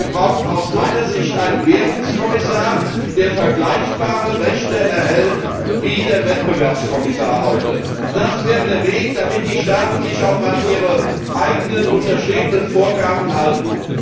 Wir brauchen aus meiner Sicht einen Währungskommissar, der vergleichbare Rechte erhält wie der Wettbewerbskommissar heute. Das wäre der Weg, damit die Staaten sich auch an ihre eigenen unterschriebenen Vorgaben halten.